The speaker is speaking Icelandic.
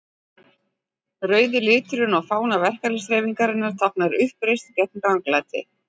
Rauði liturinn á fána verkalýðshreyfingarinnar táknar uppreisn gegn ranglæti.